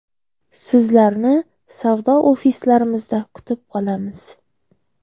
Sizlarni savdo ofislarimizda kutib qolamiz!